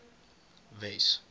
wes